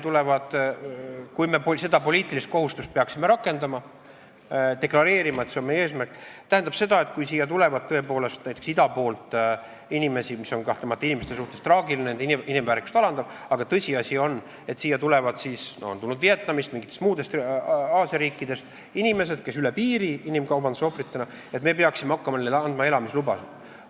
Kui me seda poliitilist kohustust peaksime rakendama, peaksime deklareerima, et see on meie eesmärk, siis see tähendab, et kui siia tuleb tõepoolest näiteks ida poolt inimesi – see olukord on inimestele kahtlemata traagiline, nende inimväärikust alandav –, tõsiasi ju on, et siia on tulnud Vietnamist ja mingitest muudest Aasia riikidest inimesi, kes on tulnud üle piiri inimkaubanduse ohvritena, siis me peaksime hakkama nendele andma elamislubasid.